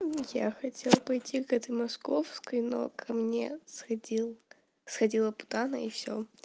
я хотел пойти к этой московской но ко мне сходил сходила путана и всё